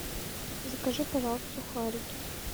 закажи пожалуйста сухарики